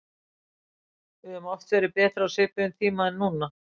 Við höfum oft verið betri á svipuðum tíma en núna.